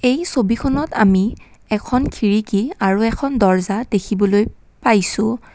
এই ছবিখনত আমি এখন খিৰিকী আৰু এখন দৰ্জা দেখিবলৈ পাইছোঁ।